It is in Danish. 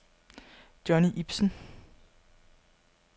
Johnny Ibsen